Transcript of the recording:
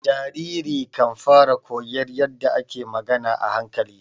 Jariri kan fara koyon yadda ake magana a hankali.